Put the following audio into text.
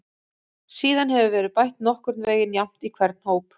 Síðan hefur verið bætt nokkurn veginn jafnt í hvern hóp.